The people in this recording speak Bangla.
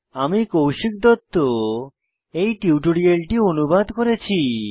আমি কৌশিক দত্ত এই টিউটোরিয়ালটি অনুবাদ করেছি